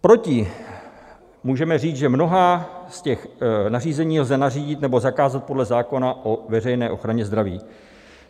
Proti můžeme říct, že mnohá z těch nařízení lze nařídit nebo zakázat podle zákona o veřejné ochraně zdraví.